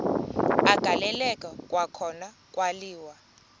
agaleleka kwakhona kwaliwa